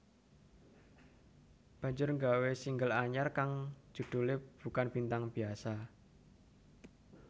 banjur nggawe single anyar kang judhulé Bukan Bintang Biasa